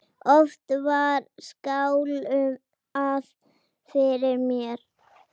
Oft var skálað fyrir þér.